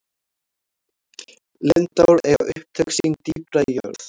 lindár eiga upptök sín dýpra í jörð